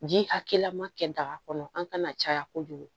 Ji hakɛya ma kɛ daga kɔnɔ an kana caya kojugu